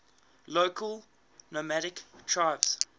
local nomadic tribes